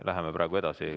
Läheme praegu edasi.